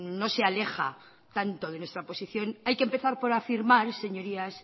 no se aleja tanto de nuestra posición hay que empezar por afirmar señorías